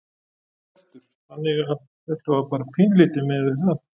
Hjörtur: Þannig að þetta bara pínulítið miðað við það?